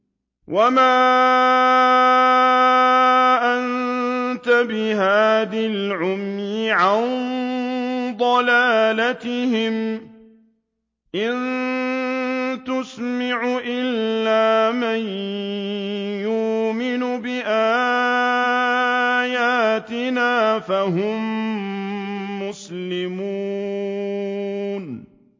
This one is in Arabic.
وَمَا أَنتَ بِهَادِي الْعُمْيِ عَن ضَلَالَتِهِمْ ۖ إِن تُسْمِعُ إِلَّا مَن يُؤْمِنُ بِآيَاتِنَا فَهُم مُّسْلِمُونَ